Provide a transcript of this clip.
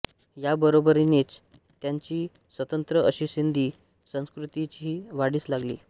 याबरोबरीनेच यांची स्वतंत्र अशी सिंधी संस्कृतीही वाढीस लागली